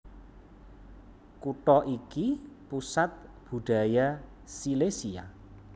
Kutha iki pusat budaya Silesia